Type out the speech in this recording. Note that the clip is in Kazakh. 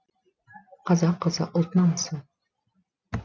қазақ қызы ұлт намысы